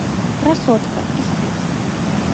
красотка искать